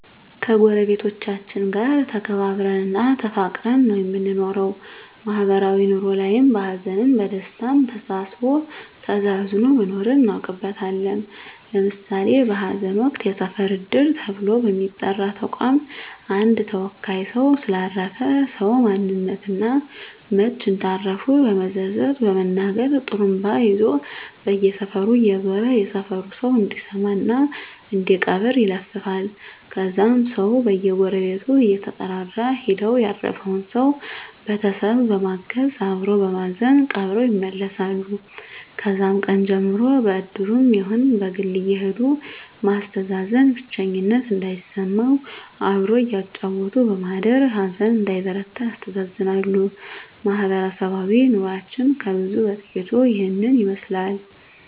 ከጎረቤቶቻችን ጋር ተከባብረን እና ተፋቅረን ነው የምንኖረው ማህበራዊ ኑሮ ላይም በሀዘንም በደስታም ተሳስቦ ተዛዝኖ መኖርን እናውቅበታለን ለምሳሌ በሀዘን ወቅት የሰፈር እድር ተብሎ በሚጠራ ተቋም አንድ ተወካይ ሰው ስለ አረፈ ሰው ማንነት እና መች እንዳረፉ በዝርዝር በመናገር ጡሩምባ ይዞ በየሰፈሩ እየዞረ የሰፈሩ ሰው እንዲሰማ እና እንዲቀብር ይለፍፋል ከዛም ሰው በየጎረቤቱ እየተጠራራ ሄደው ያረፈውን ሰው ቤተሰብ በማገዝ አበሮ በማዘን ቀብረው ይመለሳሉ ከዛም ቀን ጀምሮ በእድሩም ይሁን በግል አየሄዱ ማስተዛዘን ብቸኝነት እንዳይሰማም አብሮ እያጫወቱ በማደር ሀዘን እንዳይበረታ ያስተዛዝናሉ ማህበረሰባዊ ኑሮችን ከብዙ በጥቂቱ ይህን ይመስላል